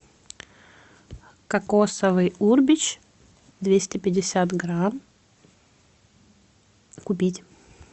кокосовый урбеч двести пятьдесят грамм купить